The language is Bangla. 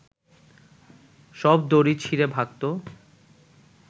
সব দড়ি ছিঁড়ে ভাগত